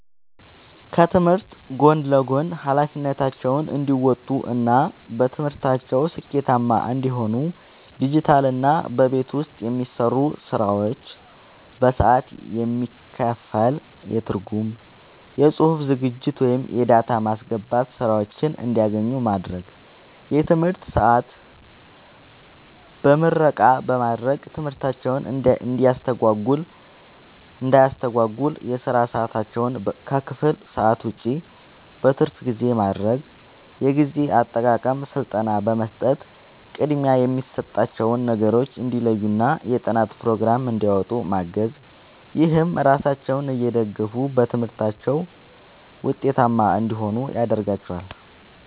ከትምህርት ጎን ለጎን ኃላፊነታቸውን እንዲወጡ እና በትምህርታቸው ስኬታማ እንዲሆኑ ዲጂታልና በቤት ውስጥ የሚሰሩ ስራዎች በሰዓት የሚከፈል የትርጉም፣ የጽሑፍ ዝግጅት ወይም የዳታ ማስገባት ሥራዎችን እንዲያገኙ ማድረግ። የትምህርት ሰዓት በምረቃ በማድረግ ትምህርታቸውን እንዳያስተጓጉል የሥራ ሰዓታቸውን ከክፍል ሰዓት ውጭ (በትርፍ ጊዜ) ማድረግ። የጊዜ አጠቃቀም ሥልጠና በመስጠት ቅድሚያ የሚሰጣቸውን ነገሮች እንዲለዩና የጥናት ፕሮግራም እንዲያወጡ ማገዝ። ይህም ራሳቸውን እየደገፉ በትምህርታቸው ውጤታማ እንዲሆኑ ያደርጋቸዋል።